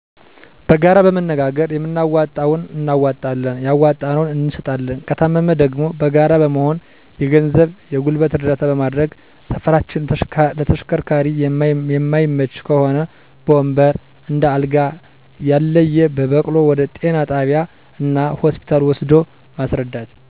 በጋራ በመመካከር የምናዋጣውን እናዋጠለን ያዋጣነውን እንሰጣለን። ከታመመ ደግሞ በጋራ በመሆን የገንዘብ የገልበት እረዳታ በመደረግ ሰፈራችን ለተሸከርካሪ የመይመች ከሆ በወንበር፣ እንደ አልጋ፣ ያልየ በበቅሉ ወደ ጤና ጣቢያ እና ሆስፒታ ወሰዶ ማሰረዳት።